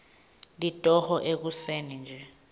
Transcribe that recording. litoho ekuseni nje